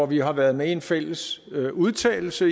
vi har været med i en fælles udtalelse